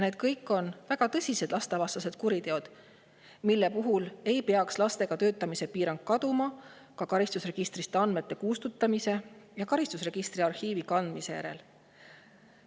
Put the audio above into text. Need kõik on väga tõsised lastevastased kuriteod, mille puhul ei peaks lastega töötamise piirang kaduma ka karistusregistrist andmete kustutamise ja karistusregistri arhiivi kandmise järel.